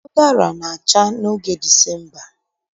Ụdara na-acha n'oge Disemba